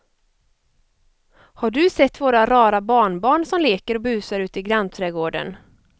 Har du sett våra rara barnbarn som leker och busar ute i grannträdgården!